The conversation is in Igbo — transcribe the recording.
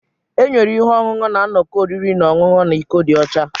Enyere ihe ọṅụṅụ na nnọkọ oriri na ọṅụṅụ na iko dị ọcha.